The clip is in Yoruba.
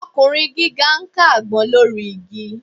Ọkùnrin gíga ń ká àgbọn lórí igi